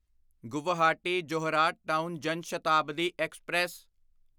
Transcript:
Guwahati Jorhat town Jan Shatabdi express